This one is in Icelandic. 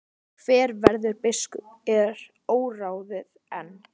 Hver verður biskup er óráðið enn.